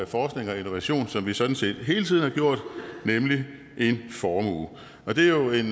forskning og innovation som vi sådan set hele tiden har gjort nemlig en formue og det er jo en